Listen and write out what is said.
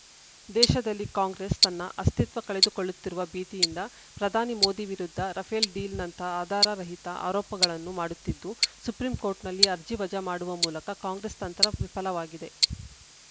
ದೇಶದಲ್ಲಿ ಕಾಂಗ್ರೆಸ್‌ ತನ್ನ ಅಸ್ತಿತ್ವ ಕಳೆದುಕೊಳ್ಳುತ್ತಿರುವ ಭೀತಿಯಿಂದ ಪ್ರಧಾನಿ ಮೋದಿ ವಿರುದ್ಧ ರಫೇಲ್‌ ಡೀಲ್‌ನಂತ ಆಧಾರ ರಹಿತ ಆರೋಪಗಳನ್ನು ಮಾಡುತ್ತಿದ್ದು ಸುಪ್ರೀಂ ಕೋರ್ಟ್‌ನಲ್ಲಿ ಅರ್ಜಿ ವಜಾ ಮಾಡುವ ಮೂಲಕ ಕಾಂಗ್ರೆಸ್‌ ತಂತ್ರ ವಿಫಲವಾಗಿದೆ